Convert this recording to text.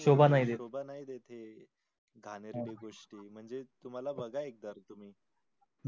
सोबा नाही देत हे घाणेरडी गोष्टी म्हणजेच तुम्हाला बघा एकदा तुम्ही.